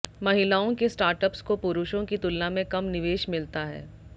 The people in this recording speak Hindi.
महिलाओं के स्टार्टअप्स को पुरुषों की तुलना में कम निवेश मिलता है